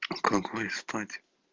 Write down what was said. какой спать